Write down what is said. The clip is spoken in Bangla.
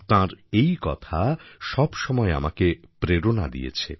তাঁর এই কথা সবসময় আমাকে প্রেরণা দিয়েছে